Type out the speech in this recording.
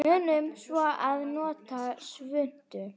Munum svo að nota svuntu.